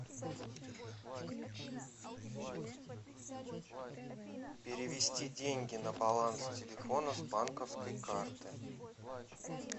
перевести деньги на баланс телефона с банковской карты